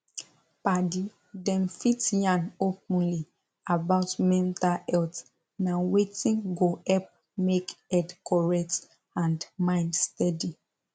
padi dem fit yan openly about mental health na wetin go help make head correct and mind steady